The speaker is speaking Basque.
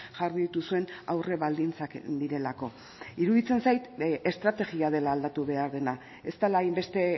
jarri dituzuen aurrebaldintzak direlako iruditzen zait estrategia dela aldatu behar dena ez dela hainbeste